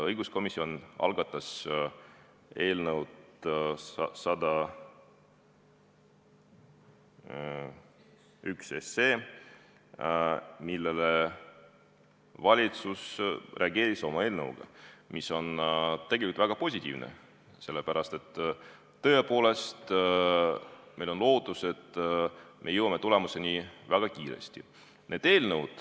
Õiguskomisjon algatas eelnõu 101, millele valitsus reageeris oma eelnõuga, mis on tegelikult väga positiivne, sest tõepoolest on meil lootus, et me jõuame tulemusele väga kiiresti.